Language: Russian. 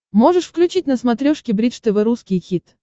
можешь включить на смотрешке бридж тв русский хит